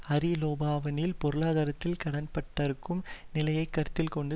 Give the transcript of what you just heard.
Hariri லெபனானின் பொருளாதாரத்தில் கடன்பட்டிருக்கும் நிலையை கருத்தில் கொண்டு